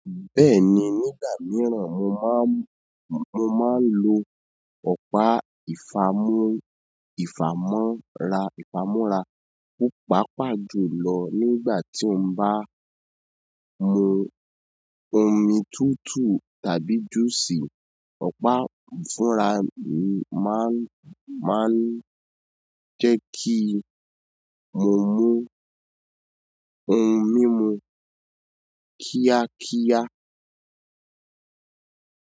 Bẹ́ẹ̀ni, nígbà mìíràn mo máa ń, mo máa ń lo ọ̀pá ìfàmọ́ra, ìfàmúra. Ó pàpà jù lọ nígbà tí mo bá mu omi tútù tàbí juice. Ọ̀pá fúnra máa ń, máa ń jẹ́ kí mo mú ohun mímu kíákíá.